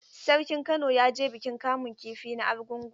Sarkin Kano ya je bikin kamun kifi na Argungu?